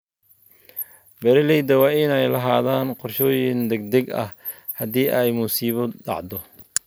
Beeralayda waa inay lahaadaan qorshooyin degdeg ah haddii ay musiibo dhacdo.